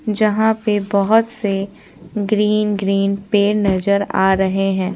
जहां पे बहुत से ग्रीन - ग्रीन पेड़ नजर आ रहे हैं।